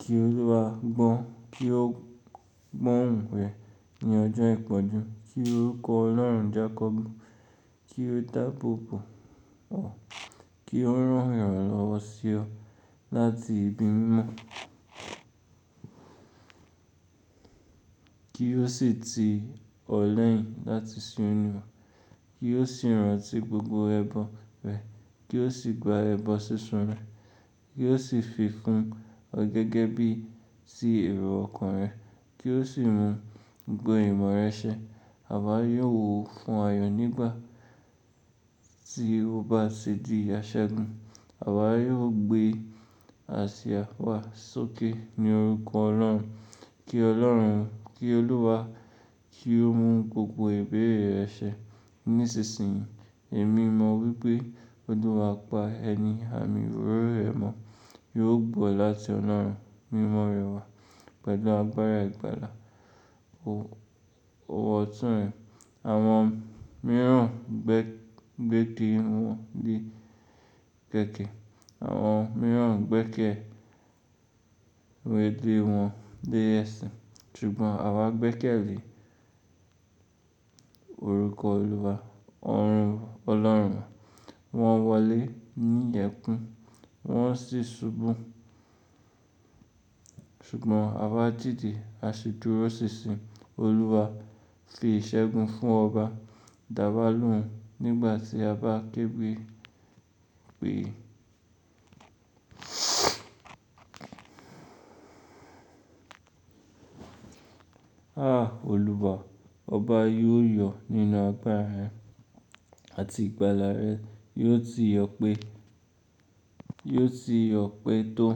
Kí Olúwa gbọ́ òun rẹ̀ ní ọjọ́ ìpọ́njú. Kí orúkọ Ọlọ́run jákọ́bu. Kí ó dápòpò ọ. Kí ó rán ìrànlọ́wọ́ sí ọ́ láti ibi mímọ́. Kí ó sì ti ọ̀ lẹ́yìn láti sin oluwa. Kí ó sì rántí gbogbo ẹbọ rẹ̀. Kí ó sì gba ẹbọ sísun rẹ̀. Kí ó sì fi fún ọ gẹ́gẹ́ bí i sí èrò ọkàn rẹ̀. Kí ó sì mu gbogbo ìmọ̀ rẹ ṣẹ. Àwa yóò fún ayọ̀ nígbà tí o bá ṣe di aṣẹ́gun. Àwa yóò gbé àṣà wá sókè ní orúkọ Ọlọ́run. Kí Ọlọ́run, kí Olúwa kí ó mu gbogbo ìbéèrè rẹ ṣẹ nísinsìnyí. Èmi mọ̀ wípé Olùwa pa ẹni, àmì òróró rẹ mọ́ yóò gbọ́ láti Ọlọ́run. Mímọ́ rẹ wà pẹ̀lú agbára ìgbàlà. Òwò ọ̀tún rẹ̀ àwọn mìíràn gbẹ́kẹ̀ lèwọ̀n dé ẹ̀sẹ̀. Ṣùgbọ́n àwa gbẹ́kẹ̀lé orúkọ Olúwa, ọ̀run Ọlọ́run. Wọ́n wọlé ní ìyẹ̀kùn, wọ́n sì ṣubú. Ṣùgbọ́n àwa dìde, a sì dúró sísìn Olúwa fi ìṣẹ́gun fún ọba. Dàwà lóun nígbà tí a bá kégbé pé, "À Olúwa, ọba yóò yọ̀ nínú agbára rẹ̀ àti ìgbàlà rẹ̀ yóò ti yọ̀ pé tó.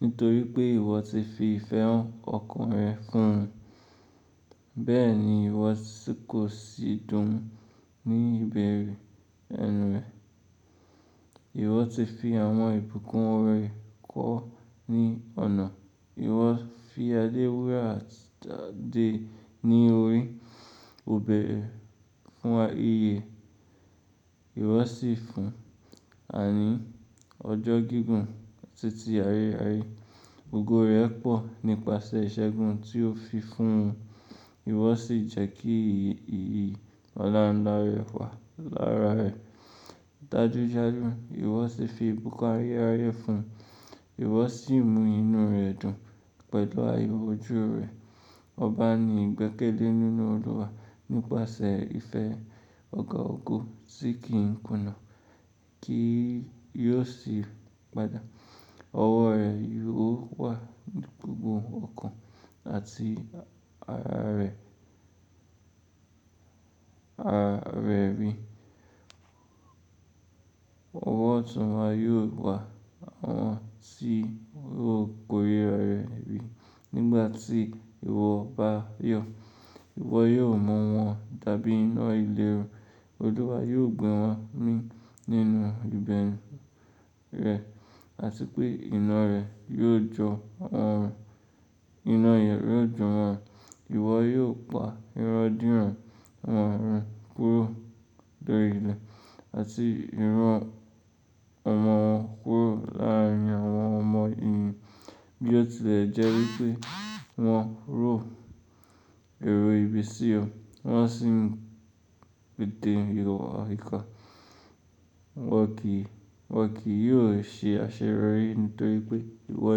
Nítorí pé ìwọ ti fi ìfẹ́ ọkàn rẹ fún un. Bẹ́ẹ̀ ni ìwọ sì kò sì dùn ní ìbẹ̀rẹ̀ ẹnu rẹ̀. Ìwọ ti fi àwọn ìbùkún rẹ kọ́ ní ọ̀nà. Ìwọ fi adé wúrà àti adé ní orí. Òbẹ fún wa iye. Ìwọ sì fún wà ní ọjọ́ gígùn títí ayé ráyè. Ògo rẹ̀ pọ̀ nípasẹ̀ ìṣẹ́gun tí o fi fún un. Ìwọ sì jẹ́ kí ìyì Ọlọ́runlá rẹ̀ wà lára rẹ̀. Dájúdájú, ìwọ sì fi ìbùkún ayérayé fún un. Ìwọ sì mú inú rẹ̀ dùn pẹ̀lú àìrójú rẹ̀. Ọba ni ìgbẹ́kẹ̀lé nínú Olúwa nípasẹ̀ ìfẹ́ ọ̀gá ọ̀gọ́ tí kì í kùnà kí yóò sì padà. Ọwọ́ rẹ̀ yóò wà ní gbogbo ọkàn àti ara rẹ̀ rí. Òwò ọ̀tún wa yóò wà, àwọn tí yóò kórè ara rẹ̀ rí nígbà tí ìwọ bá yọ̀. Ìwọ yóò mọ́ wọn tàbí iná ìléru. Olúwa yóò gbé wọn mì nínú ibẹ̀ru rẹ̀ rẹ̀ àti pé iná rẹ̀ yóò jọ wọ́n. Iná ìyẹ̀rù yóò jọ wọ́n. Ìwọ yóò pa irandiran àwọn ọ̀run kúrò lórí ilẹ̀ àti irú ọmọ wọn kúrò láàárín àwọn ọmọ èèyàn bí ó tilẹ̀ jẹ́ wípé wọ́n ró èrò ibi sí ọ. Wọ́n sì ń pé té ìwa ìká. Wọn kì yóò ṣe àṣeyọ̀rí nítorí pé ìwọ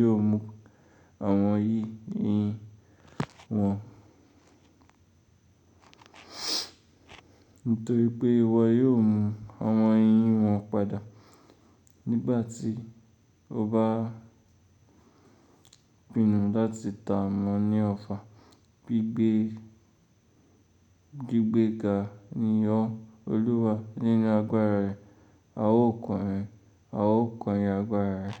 yóò mú àwọn yìí yin wọn. Nítorí pé ìwọ yóò mú àwọn yin wọn padà nígbà tí o bá pinu láti tà mọ́ ní ọfà. Gbigbe ga ni ọ́ Olúwa nínú agbára rẹ̀. A ó kọrin agbára rẹ̀.